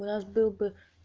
у нас был бы